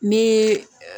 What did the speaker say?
Ni